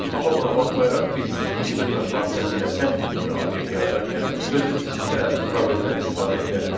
Amma buna baxmayaraq biz iki dırnaq vasitəsilə sətr tipli obyekt yaradarkən sözün içində probeldən istifadə edə bilərik.